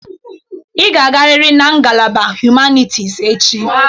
Ị ga-agarịrị na ngalaba hụmanịtis echi!